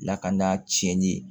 Lakana tiɲɛnni ye